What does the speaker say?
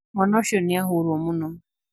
Mwana ucio ni ahũrwo mũno